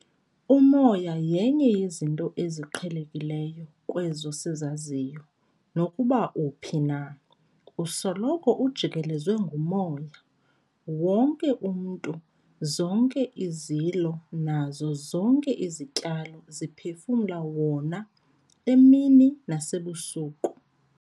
Umoya yenye yezinto eziqhelekileyo kwezo sizaziyo. Nokuba uphi na, usoloko ujikelezwe ngumoya. Wonke umntu, zonke izilo nazo zonke izityalo ziphefumla wona emini nasebusuku.